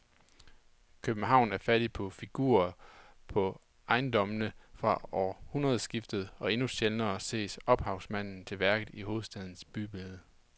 København er fattig på figurer på ejendommene fra århundredskiftet og endnu sjældnere ses ophavsmanden til værket i hovedstadens bybillede.